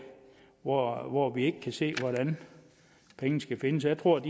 hvor hvor vi ikke kan se hvordan pengene skal findes jeg tror